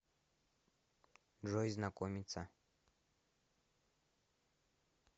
джой знакомица